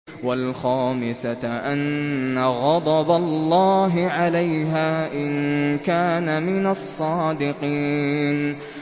وَالْخَامِسَةَ أَنَّ غَضَبَ اللَّهِ عَلَيْهَا إِن كَانَ مِنَ الصَّادِقِينَ